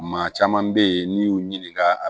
Maa caman bɛ ye n'i y'u ɲininka